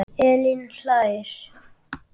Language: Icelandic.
Elín hlær.